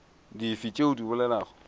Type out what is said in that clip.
dife tšeo o di bolelago